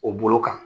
O bolo kan